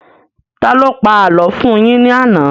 Taló pa àlọ́ fún un yín ní àná?